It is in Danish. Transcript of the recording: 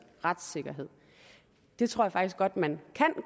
retssikkerhed det tror jeg faktisk godt at man kan